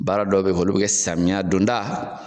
Baara dɔw be yen, olu be kɛ samiya don da